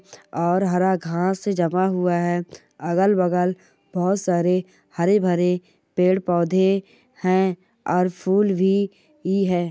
और हरा घास जमा हुआ है अगल बगल बहोत सारे हरे भरे पेड़ पौधे है और फूल भी है।